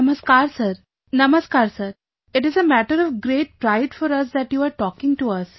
Namaskar sir Namaskar sir, it is a matter of great pride for us that you are talking to us